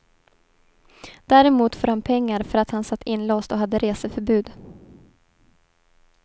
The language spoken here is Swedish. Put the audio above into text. Däremot får han pengar för att han satt inlåst och hade reseförbud.